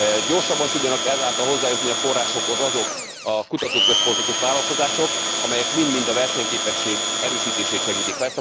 Gyorsabban tudjanak ezáltal hozzájutni a forrásokhoz azok a kutatóközpontok és vállalkozások, amelyek mind mind a versenyképesség erősítését segítik.